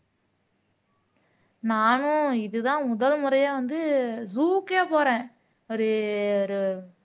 நானும் இதுதான் முதல் முறையா வந்து zoo க்கே போறேன் ஒரு ஒரு